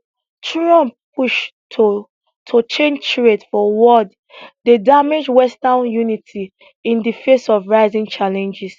trump push to to change trade for world dey damage western unity in di face of rising challenges